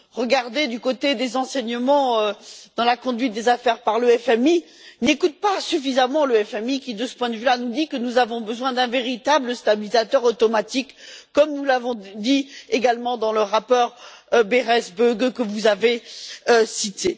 tirer des enseignements de la conduite des affaires par le FMI n'écoutent pas suffisamment le FMI qui, de ce point de vue, nous dit que nous avons besoin d'un véritable stabilisateur automatique, comme nous l'avons dit également dans le rapport Berès Böge que vous avez cité.